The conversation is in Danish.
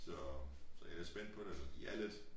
Så jeg er spændt på det de er lidt